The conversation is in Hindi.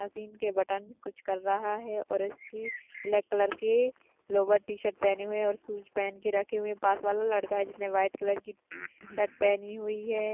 मशीन के बटन कुछ कर रहा है और इसकी ब्लॅक कलर की लोगो टी शर्ट पहने हुए और शूज पहन के रखे हुए पास वाला लड़का जिसमे व्हाइट कलर की शर्ट पहनी हुई है।